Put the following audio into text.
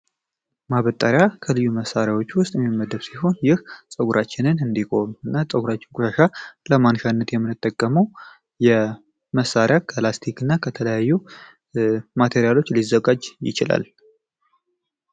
ማበጣሪያ ከልዩ መሣሪያዎቹ ውስጥ የሚመደብ ሲሆን ይህ ጸጉራችንን እንዲጎም እና ጸጉራችን ቁሻሻ ለማንሻነት የምንጠገመው የመሣሪያ ጋላስቲክ እና ከተለያዩ ማቴሪያሎች ሊዘጋጅ ይችላል፡፡